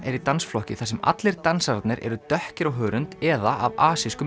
er í dansflokki þar sem allir dansararnir eru dökkir á hörund eða af